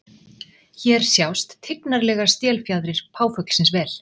Hér sjást tignarlegar stélfjaðrir páfuglsins vel.